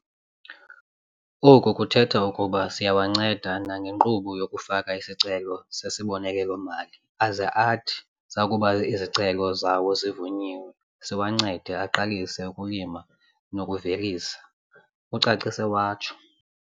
Oku kuthetha ukuba siyawanceda nangenkqubo yokufaka isicelo sesibonelelo-mali aze athi zakuba izicelo zawo zivunyiwe, siwancede aqalise ukulima nokuvelisa," ucacise watsho.